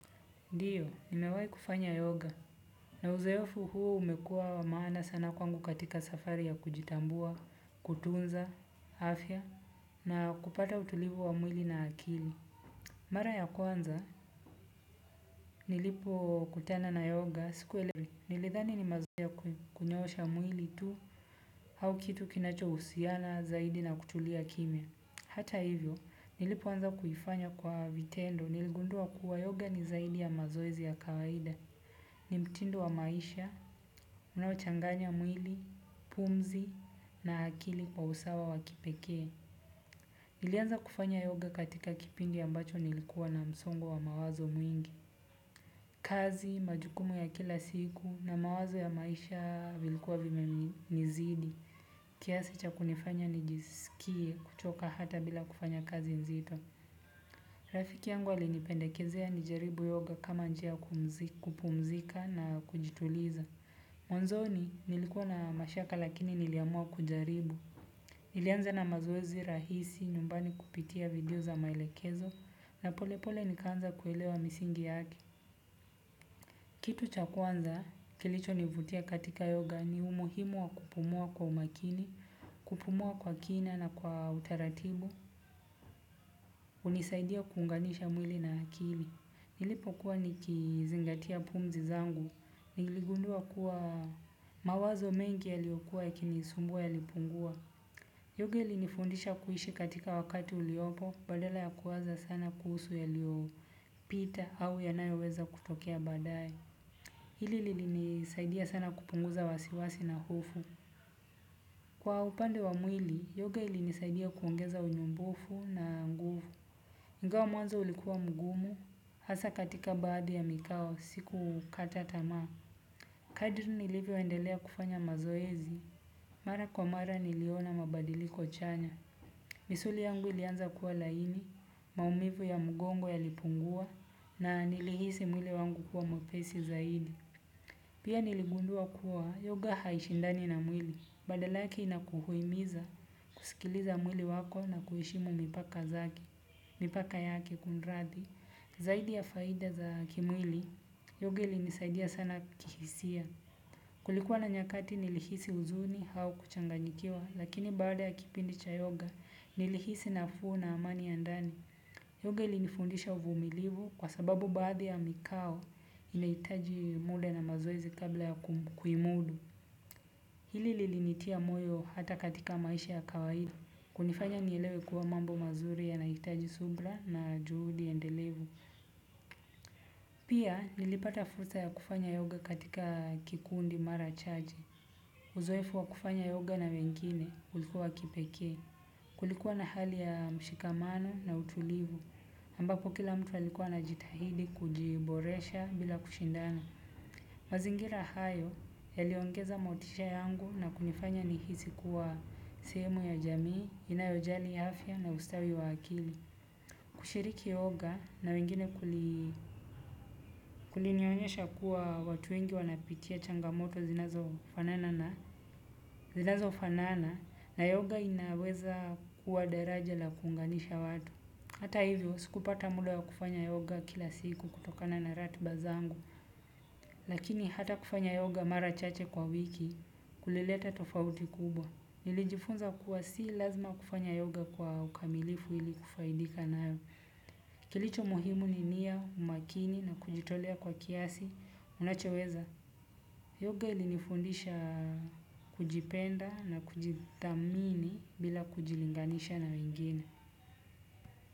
Ndio, nimewahi kufanya yoga. Na uzoefu huo umekuwa maana sana kwangu katika safari ya kujitambua, kutunza afya, na kupata utulivu wa mwili na akili. Mara ya kwanza, nilipo kutana na yoga, sikuelewa, nilidhani ni mazoezi ya kunyoosha mwili tu, au kitu kinachohusiana zaidi na kutulia kimya. Hata hivyo, nilipoanza kuifanya kwa vitendo, niligundua kuwa yoga ni zaidi ya mazoezi ya kawaida. Ni mtindo wa maisha, unaochanganya mwili, pumzi na akili kwa usawa wa kipekee. Nilianza kufanya yoga katika kipindi ambacho nilikuwa na msongo wa mawazo mwingi. Kazi majukumu ya kila siku na mawazo ya maisha vilikuwa vimenizidi. Kiasi cha kunifanya nijisikie kuchoka hata bila kufanya kazi nzito. Rafiki yangu alinipendekezea nijaribu yoga kama njia kupumzika na kujituliza. Mwanzoni nilikuwa na mashaka lakini niliamua kujaribu. Nilianza na mazoezi rahisi nyumbani kupitia video za maelekezo. Na pole pole nikaanza kuelewa misingi yake. Kitu chakuanza kilichonivutia katika yoga ni umuhimu wa kupumua kwa umakini. Kupumua kwa kina na kwa utaratibu hunisaidia kuunganisha mwili na akili nilipokuwa nikizingatia pumzi zangu. Niligundua kuwa mawazo mengi yaliyokua yakinisumbua yalipungua. Yoga ilinifundisha kuishi katika wakati uliopo badala ya kuwaza sana kuhusu yaliyopita au yanayoweza kutokea baadae. Hili lilisaidia sana kupunguza wasiwasi na hofu. Kwa upande wa mwili, yoga linisaidia kuongeza unyumbufu na nguvu ingawa mwanzo ulikuwa mgumu, hasa katika baadhi ya mikao, siku kata tamaa. Kadri nilivyoendelea kufanya mazoezi. Mara kwa mara niliona mabadiliko chanya. Misuli yangu ilianza kuwa laini, maumivu ya mgongo yalipungua na nilihisi mwili wangu kuwa mwepesi zaidi. Pia niligundua kuwa yoga haishindani na mwili, badala yake inakuhimiza kusikiliza mwili wako na kuheshimu mipaka zake, mipaka yake kumrathi. Zaidi ya faida za kimwili, yoga ilinisaidia sana kihisia. Kulikuwa na nyakati nilihisi huzuni au kuchanganyikiwa, lakini baada ya kipindi cha yoga, nilihisi nafuu na amani ya ndani. Yoga ilinifundisha uvumilivu kwa sababu baadhi ya mikao inahitaji muda na mazoezi kabla ya kuimudu. Hili lilinitia moyo hata katika maisha ya kawaida. Kunifanya nielewe kuwa mambo mazuri yanaitaji subra na juhudi endelevu. Pia nilipata fursa ya kufanya yoga katika kikundi mara chache. Uzoefu wa kufanya yoga na wengine ulikuwa kipekee. Kulikuwa na hali ya mshikamano na utulivu. Ambako kila mtu alikua anajitahidi kujiboresha bila kushindana. Mazingira hayo yaliongeza motisha yangu na kunifanya nihisi kuwa sehemu ya jamii, inayojali ya afya na ustawi wa akili. Kushiriki yoga na wengine kulinionyesha kuwa watu wengi wanapitia changamoto zinazofanana na yoga inaweza kuwa deraja la kuunganisha watu. Hata hivyo, sikupata muda ya kufanya yoga kila siku kutokana na ratiba zangu, lakini hata kufanya yoga mara chache kwa wiki, kulileta tofauti kubwa. Nilijifunza kuwa si lazima kufanya yoga kwa ukamilifu ili kufaidika nayo. Kilicho muhimu ni nia, umakini na kujitolea kwa kiasi unachoweza, yoga ilinifundisha kujipenda na kujithamini bila kujilinganisha na wengine.